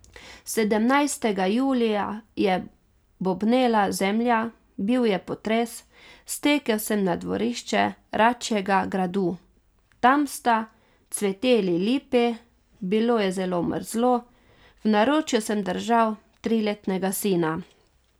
Sedemnajstega julija je bobnela zemlja, bil je potres, stekel sem na dvorišče račjega gradu, tam sta cveteli lipi, bilo je zelo mrzlo, v naročju sem držal triletnega sina.